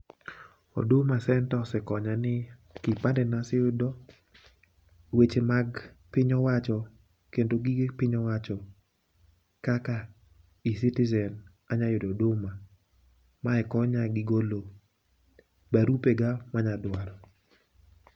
huduma center osekanyo ni kipande naseyudo, weche mag piny owacho kendo gige piny owacho kaka ecitizen anya yudo huduma. Mae konya gi golo barupe ga manya dwaro.